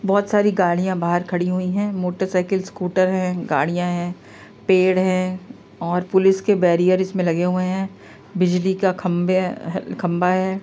बहुत सारी गाड़ियाँ बाहर खड़ी हुई हैं मोटर साइकिल स्कूटर हैं गाड़ियाँ हैं पेड़ हैं और पुलिस के बेरियर इसमें लगे हुए हैं बिजली का खम्भे अ खम्भा है।